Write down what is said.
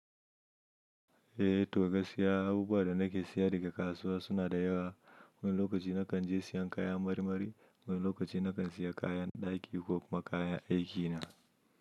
Eh, to gaskiya abubuwa da nake siya daga kasuwa suna da yawa. Wani lokaci nakan je siyan kayan marmari, wani lokaci nakan siya kayan ɗaki ko kuma kayan aiki na.